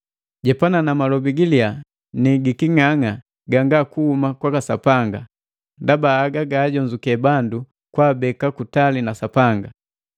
Jepana na malobi giliya ni giking'ang'a ganga kuhuma kwa Sapanga, ndaba haga gajonzukee bandu kwaabeka kutali na Sapanga.